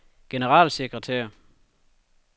generalsekretær